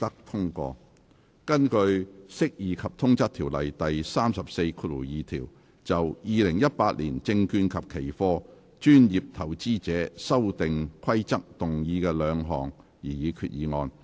根據《釋義及通則條例》第342條，就《2018年證券及期貨規則》動議的兩項擬議決議案。